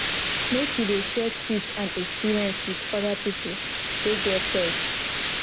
make you dey share tips and experience wit oda pipo wey get pet